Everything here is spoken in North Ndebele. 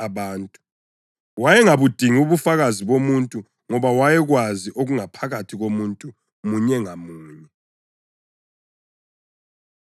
Wayengabudingi ubufakazi bomuntu ngoba wayekwazi okungaphakathi komuntu munye ngamunye.